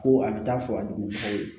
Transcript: Ko a bɛ taa fɔ ka jugu aw ye